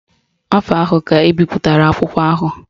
Afọ ahụ ka ebipụtara akwụkwọ ahụ